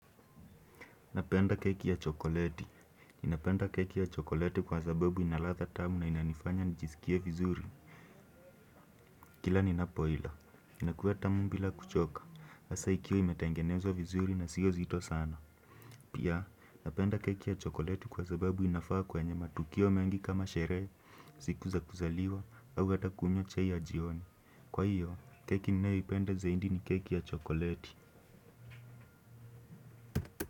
Napenda keki ya chokoleti. Ninapenda keki ya chokoleti kwa sababu ina ladha tamu na inanifanya nijisikie vizuri. Kila ninapo ila. Inakuwa tamu bila kuchoka. Hasa ikiwa imetengenezwa vizuri na sio zito sana. Pia, napenda keki ya chokoleti kwa sababu inafaa kwenye matukio mengi kama sherehe, siku za kuzaliwa, au hata kunywa chai ya jioni. Kwa hiyo, keki ninayoipenda zaidi ni keki ya chokoleti.